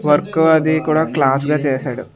Work అది కూడా class గా చేశాడు.